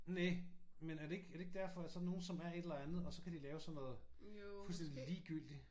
Næ men er det ikke er det ikke derfor at sådan nogen som er et eller andet og så kan de lave sådan noget fuldstændigt ligegyldigt?